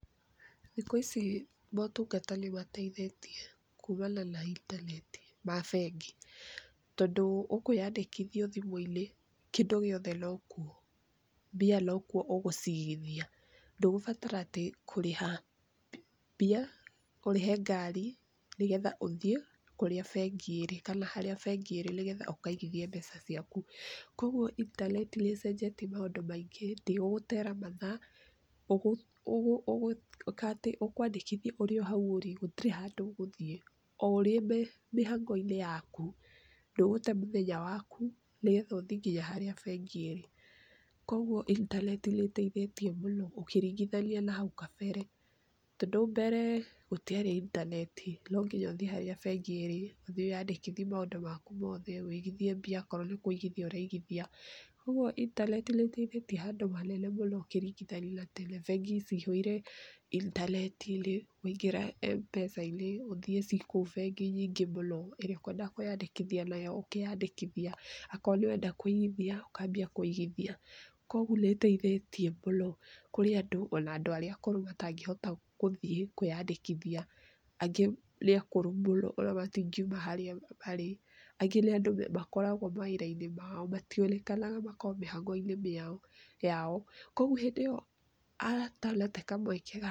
Thikũ ici motungata nĩ mateithĩtie kumana na intaneti ma bengi, tondũ ũkwĩandĩkithia o thimũ-inĩ, kĩndũ gĩothe no kuo, mbia no kuo ũgũciigithia, ndũgũbatara atĩ kũrĩha mbia, ũrĩhe ngari, nĩgetha ũthiĩ kũrĩa bengi ĩrĩ na harĩa bengi ĩrĩ nĩgetha ũkaigithie mbeca ciaku. Koguo intaneti nĩcenjetie maũndũ maingĩ nginya gũtera mathaa ukũ ũkwandĩkithia ũrĩ o harĩa ũrĩ, gũtirĩ handũ ũgũthiĩ o ũrĩ mĩhang'o-inĩ yaku, ndũgũte mũthenya waku nĩgetha ũthiĩ nginya harĩa bengi ĩri. Koguo intaneti nĩteithĩtie mũno ũkĩringithania na hau kabere, tondũ mberee gũtiarĩ intanet, nonginya ũthiĩ harĩa bengi ĩrĩ, ũthiĩ wĩyandĩkithie maũndũ maku mothe, ũigithie mbia okorwo nĩ kũigithia ũraigithia. Koguo intaneti nĩ teithĩtie handũ hanene mũno ũkĩringithania na tene. Bengi cihũire intaneti-inĩ waingĩra M-Pesa ũthií ciĩ kou nyingĩ mũno, ĩrĩa ũkwenda kwĩyandĩkithia nayo ũkeyandĩkithiia, o korwo nĩ ũrenda kũigithia, ũkambia kũigithia, koguo nĩ teithĩtie mũno kũrĩ andũ, o na andũ aria akũrũ matangĩhota gũthiĩ kwĩandĩkithia. Angĩ nĩ akũrũ mũno, o na matingiuma harĩa marĩ, angĩ nĩ andũ makoragwo mawĩra-inĩ mao, mationekaga makoragwo mĩhang'o-inĩ yao, koguo hĩndĩ ĩyo atanate kamweke.